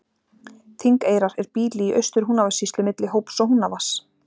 Þingeyrar er býli í Austur-Húnavatnssýslu milli Hóps og Húnavatns.